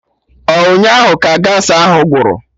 Ọ ụnyaahụ ka Gaasị ahụ gwụrụ?